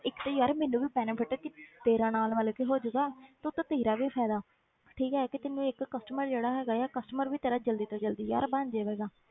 ਇੱਕ ਤੇ ਯਾਰ ਮੈਨੂੰ ਵੀ benefit ਹੈ ਕਿ ਤੇਰਾ ਨਾਲ ਮਤਲਬ ਕਿ ਹੋ ਜਾਊਗਾ ਤੇ ਉੱਤੋਂ ਤੇਰਾ ਵੀ ਫ਼ਾਇਦਾ ਠੀਕ ਹੈ ਕਿ ਤੈਨੂੰ ਇੱਕ customer ਜਿਹੜਾ ਹੈਗਾ ਹੈ customer ਤੇਰਾ ਜ਼ਲਦੀ ਤੋਂ ਜ਼ਲਦੀ ਯਾਰ ਬਣ ਜਾਵੇਗਾ,